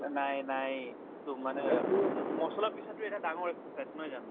নাই নাই to মানে মছলা পিছাটো এটা ডাঙৰ exercise নহয় জানো